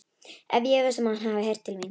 Ég efast um, að hann hafi heyrt til mín.